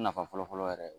Nafa fɔlɔfɔlɔ yɛrɛ